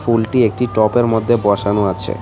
ফুলটি একটি টবের মধ্যে বসানো আছে.